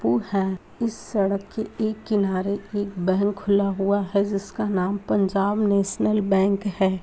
इस सड़क के एक किनारे एक बैंक खुला हुआ है जिसका नाम पंजाब नेशनल बैंक है।